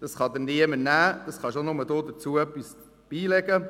Dies kann einem niemand wegnehmen, und man kann nur selber dazu etwas beitragen.